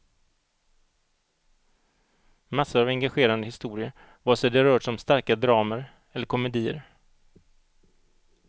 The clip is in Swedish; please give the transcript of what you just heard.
Massor av engagerande historier vare sig det rört sig om starka dramer eller komedier.